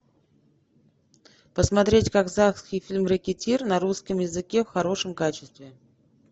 посмотреть казахский фильм рэкетир на русском языке в хорошем качестве